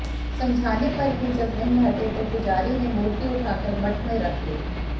समझाने पर भी जब नहीं हटे तो पुजारी ने मूर्ति उठाकर मठ में रख ली